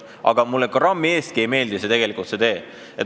Aga mulle see tee grammi eestki tegelikult ei meeldi.